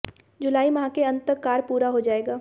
जुलाई माह के अंत तक कार्य पूरा हो जाएगा